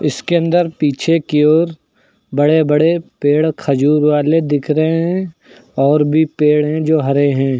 इसके अंदर पीछे की ओर बड़े बड़े पेड़ खजूर वाले दिख रहे हैं और भी पेड़ हैं जो हरे हैं।